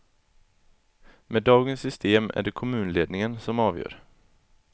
Med dagens system är det kommunledningen som avgör.